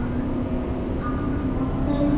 Að lokum